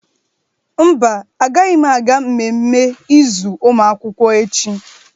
Mba, agaghị m aga mmemme izu ụmụ akwụkwọ echi.